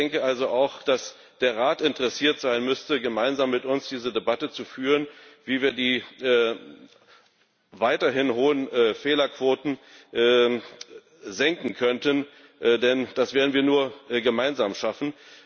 Ich denke also, dass auch der Rat interessiert sein müsste, gemeinsam mit uns diese Debatte zu führen, wie wir die weiterhin hohen Fehlerquoten senken könnten, denn das werden wir nur gemeinsam schaffen.